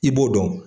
I b'o dɔn